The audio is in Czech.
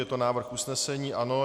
Je to návrh usnesení, ano.